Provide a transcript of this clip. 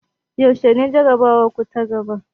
Yaushe ne jarabawarku ta gaba?